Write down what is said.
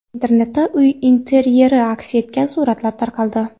Internetda uy interyeri aks etgan suratlar tarqaldi.